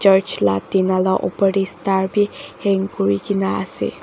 church la tina la opor te star bi hang kuri kena ase.